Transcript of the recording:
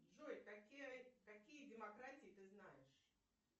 джой какие демократии ты знаешь